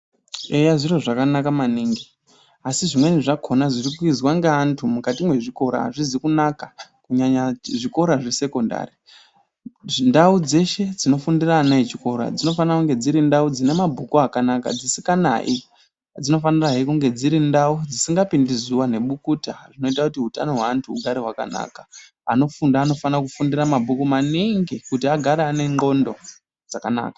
Eya zviro zvakanaka maningi asi zvimweni zvakona zvirikuizwa ngeantu mukati mwezvikora hazvizi kunaka kunyaya zvikora zvesekondari. Ndau dzeshe dzinofundira ana echikora dzinofana kunge dzirindau dzine mabhuku akanaka dzisikanayi. Dzinofana kungehe dziri ndau dzisingapindi zuva ngebukuta zvinoita kuti utano hweantu hugare hwakanaka. Anofunda anofanira kufunda mabhuku maningi kuti agare ane ndxondo dzakanaka.